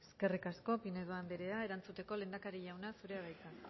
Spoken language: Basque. eskerrik asko pinedo andrea erantzuteko lehendakari jauna zurea da hitza